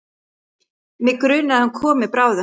Mig grunar að hann komi bráðum.